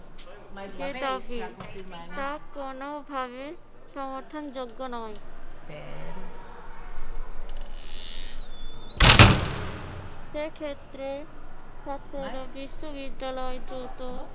যে দাবি তা কোনভাবে সমর্থনযোগ্য নয়। সেক্ষেত্রে ছাত্ররা বিশ্ববিদ্যালয়ে দ্রুত